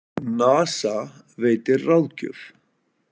NASA veitir ráðgjöf